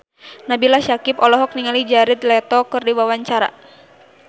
Nabila Syakieb olohok ningali Jared Leto keur diwawancara